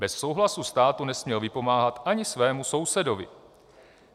Bez souhlasu státu nesměl vypomáhat ani svému sousedovi.